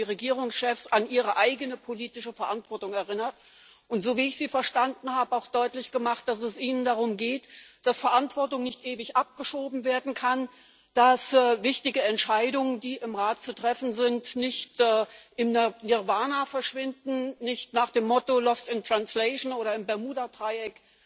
Sie haben die Regierungschefs an ihre eigene politische Verantwortung erinnert und so wie ich Sie verstanden habe auch deutlich gemacht, dass es Ihnen darum geht, dass Verantwortung nicht ewig abgeschoben werden kann, dass wichtige Entscheidungen, die im Rat zu treffen sind, nicht im Nirwana verschwinden, nach dem Motto Lost in Translation, oder im Bermudadreieck